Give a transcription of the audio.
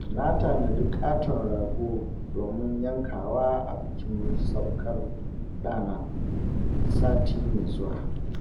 Na tanadi ƙaton rago domin yankawa a bikin saukar ɗana, sati mai zuwa.